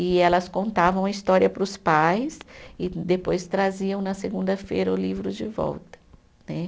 E elas contavam a história para os pais e depois traziam na segunda-feira o livro de volta né.